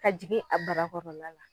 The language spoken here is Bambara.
Ka jigin a barakɔrɔla la.